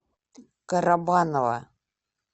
карабаново